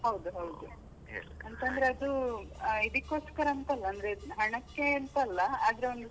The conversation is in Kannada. ಹೌದು ಹೌದು, ಅಂತಂದ್ರೆ ಅದು, ಇದಿಕೋಸ್ಕರ ಅಂತ ಅಲ್ಲ ಅಂದ್ರೆ ಹಣಕ್ಕೆ ಅಂತ ಅಲ್ಲ ಆದ್ರೆ ಒಂದು.